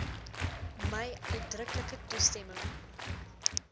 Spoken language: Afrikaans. my uitdruklike toestemming